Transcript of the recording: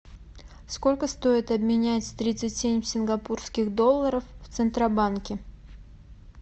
сколько стоит обменять тридцать семь сингапурских долларов в центробанке